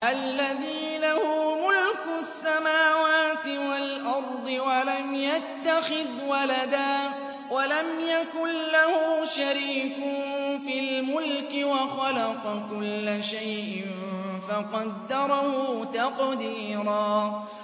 الَّذِي لَهُ مُلْكُ السَّمَاوَاتِ وَالْأَرْضِ وَلَمْ يَتَّخِذْ وَلَدًا وَلَمْ يَكُن لَّهُ شَرِيكٌ فِي الْمُلْكِ وَخَلَقَ كُلَّ شَيْءٍ فَقَدَّرَهُ تَقْدِيرًا